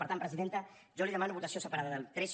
per tant presidenta jo li demano votació separada del tres